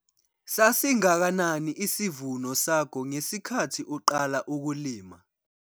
Sasingakanani isivuno sakho ngesikhathi uqala ukulima?